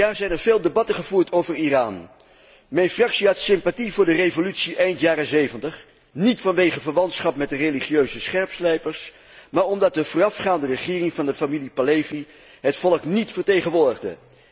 Deze vijf jaar zijn er veel debatten gevoerd over Iran. Mijn fractie had sympathie voor de revolutie eind jaren '70, niet vanwege verwantschap met de religieuze scherpslijpers, maar omdat de voorafgaande regering van de familie Pahlavi het volk niet vertegenwoordigde.